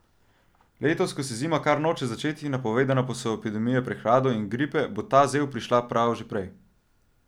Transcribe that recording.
Letos, ko se zima kar noče začeti, napovedane pa so epidemije prehladov in gripe, bo ta zel prišla prav že prej.